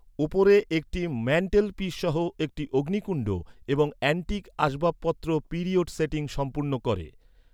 উপরে একটি ম্যান্টেলপিস সহ একটি অগ্নিকুণ্ড এবং এন্টিক আসবাবপত্র পিরিয়ড সেটিং সম্পূর্ণ করে।